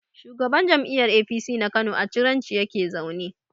Shugaban jam'iyyar APC na Kano a Ciranci yake zaune.